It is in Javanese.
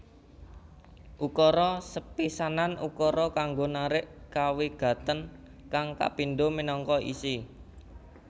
Ukara sepisanan ukara kanggo narik kawigatèn kang kapindho minangka isi